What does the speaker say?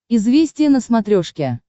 известия на смотрешке